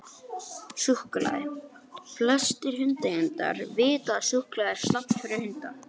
Súkkulaði: Flestir hundaeigendur vita að súkkulaði er slæmt fyrir hunda.